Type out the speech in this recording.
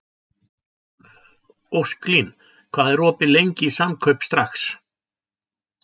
Ósklín, hvað er opið lengi í Samkaup Strax?